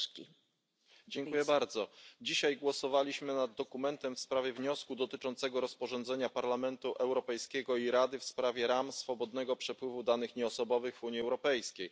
Pani Przewodnicząca! Dzisiaj głosowaliśmy nad dokumentem w sprawie wniosku dotyczącego rozporządzenia Parlamentu Europejskiego i Rady w sprawie ram swobodnego przepływu danych nieosobowych w Unii Europejskiej.